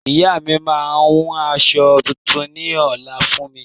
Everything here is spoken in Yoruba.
Ìyá mi maa hun aṣọ tuntun ní ọ̀la fún mi